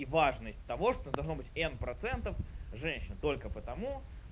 и важность того что должно быть н процентов женщин только потому